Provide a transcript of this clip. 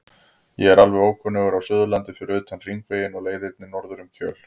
Ég er alveg ókunnugur á Suðurlandi fyrir utan Hringveginn og leiðirnar norður um Kjöl og